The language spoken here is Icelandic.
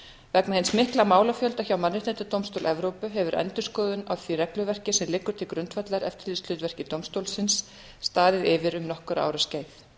vegna hins mikla málafjölda hjá mannréttindadómstól evrópu hefur endurskoðun á því regluverki sem liggur til grundvallar eftirlitshlutverki dómstólsins staðið yfir um nokkurra ára skeið